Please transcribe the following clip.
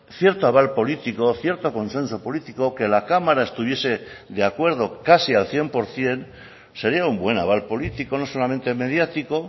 cierto aval político cierto consenso político que la cámara estuviese de acuerdo casi al cien por ciento sería un buen aval político no solamente mediático